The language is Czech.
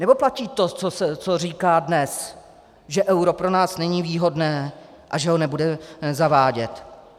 Nebo platí to, co říkáte dnes, že euro pro nás není výhodné a že ho nebude zavádět?